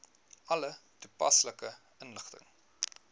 alle toepaslike inligting